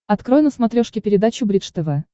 открой на смотрешке передачу бридж тв